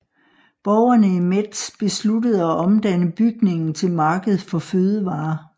Borgerne i Metz besluttede at omdanne bygningen til marked for fødevarer